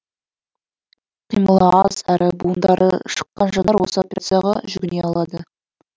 қимылы аз әрі буындары шыққан жандар осы операцияға жүгіне алады